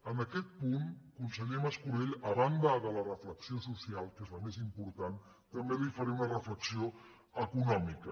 en aquest punt conseller mas·colell a banda de la reflexió social que és la més important també li fa·ré una reflexió econòmica